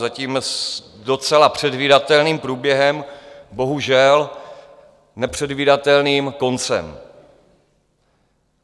Zatím s docela předvídatelným průběhem, bohužel nepředvídatelným koncem.